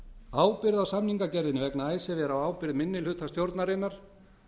ábyrgð á samningagerðinni vegna icesave er á ábyrgð minnihluta stjórnarinnar